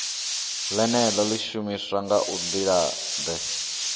ḽeneḽo ḽi shumiswa nga nḓilaḓe